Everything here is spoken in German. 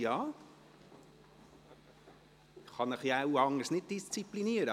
Aber ich kann Sie wohl anders nicht disziplinieren.